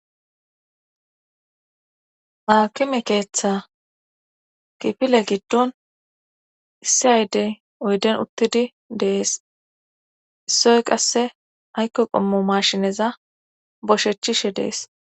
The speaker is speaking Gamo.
aakime keeththa kifile giddon issi aydey oyden uttidi dees issoy qasse aykko qommo mashineza boshechchishe dees